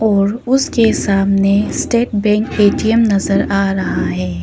और उसके सामने स्टेट बैंक ए_टी_एम नजर आ रहा है।